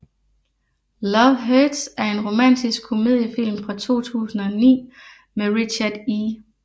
Love Hurts er en romantisk komediefilm fra 2009 med Richard E